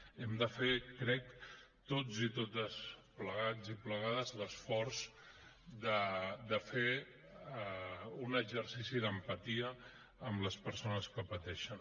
hem de fer crec tots i totes plegats i plegades l’esforç de fer un exercici d’empatia amb les persones que pateixen